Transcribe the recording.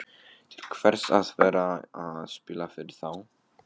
Til hvers að vera að spila fyrir þá?